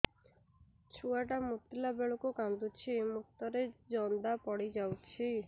ଛୁଆ ଟା ମୁତିଲା ବେଳକୁ କାନ୍ଦୁଚି ମୁତ ରେ ଜନ୍ଦା ପଡ଼ି ଯାଉଛି